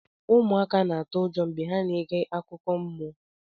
ụmụaka na-atụ ụjọ mgbe ha na-ege akụkọ mmụọ